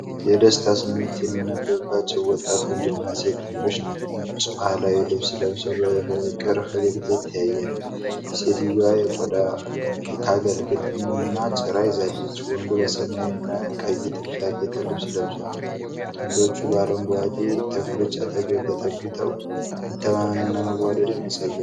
የደስታ ስሜት የሚነበብባቸው ወጣት ወንድና ሴት ጥንዶች ነጭ ባህላዊ ልብስ ለብሰው በፍቅር ፈገግታ ይተያያሉ። ሴትየዋ የቆዳ ከአገልግልና ጭራ ይዛለች፤ ወንዱ በሰማያዊና ቀይ ጥልፍ ያጌጠ ልብስ ለብሷል። ጥንዶቹ በአረንጓዴ ተክሎች አጠገብ ተጠግተው መተማመንና መዋደድን ያሳያሉ።